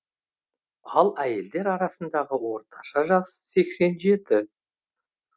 ал әйелдер арасындағы орташа жас сексен жеті